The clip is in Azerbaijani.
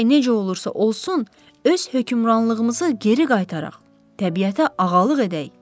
Gərək necə olursa olsun, öz hökmranlığımızı geri qaytaraq, təbiətə ağalıq edək.